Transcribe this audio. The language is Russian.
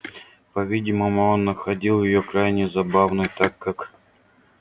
по-видимому он находил её крайне забавной так как